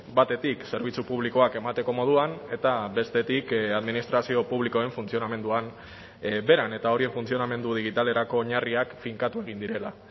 batetik zerbitzu publikoak emateko moduan eta bestetik administrazio publikoen funtzionamenduan beran eta hori funtzionamendu digitalerako oinarriak finkatu egin direla